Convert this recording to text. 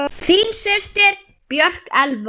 Þín systir, Björk Elfa.